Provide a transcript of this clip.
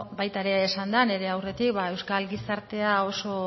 baita ere esan da nire aurretik ba euskal gizartea oso